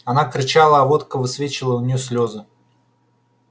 она кричала а водка высвечивала у нее слезы